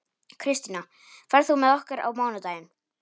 Kristína, ferð þú með okkur á mánudaginn?